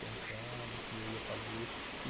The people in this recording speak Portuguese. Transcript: Pensando o que eu ia fazer.